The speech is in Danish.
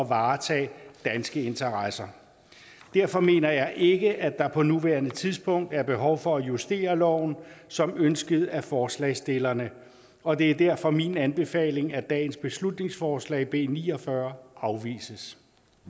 varetage danske interesser derfor mener jeg ikke at der på nuværende tidspunkt er behov for at justere loven som ønsket af forslagsstillerne og det er derfor min anbefaling at dagens beslutningsforslag b ni og fyrre afvises